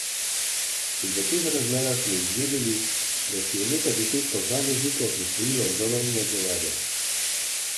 In v teh razmerah smo izvedeli, da si je nekaj deset posameznikov prisvojilo ogromno denarja.